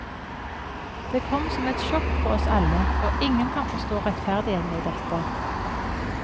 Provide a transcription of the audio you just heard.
Det kom som et sjokk på oss alle, og ingen kan forstå rettferdigheten i dette.